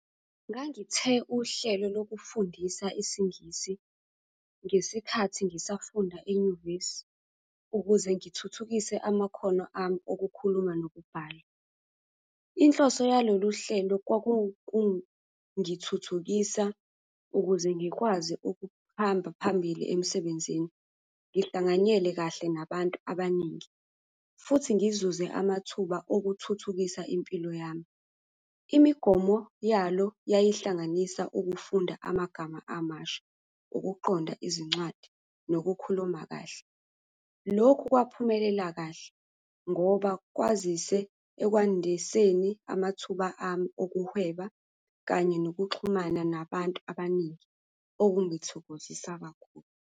Ngangithe uhlelo lokufundisa isiNgisi ngesikhathi ngisafunda enyuvesi ukuze ngithuthukise amakhono ami okukhuluma nokubhala. Inhloso yalolu hlelo kwakukungithuthukisa ukuze ngikwazi ukuhamba phambili emsebenzini, ngihlanganyele kahle nabantu abaningi, futhi ngizuze amathuba okuthuthukisa impilo yami. Imigomo yalo yayihlanganisa ukufunda amagama amasha, ukuqonda izincwadi, nokukhuluma kahle. Lokhu kwaphumelela kahle ngoba kwazise ekwandiseni amathuba ami okuhweba kanye nokuxhumana nabantu abaningi, okungithokozisa kakhulu.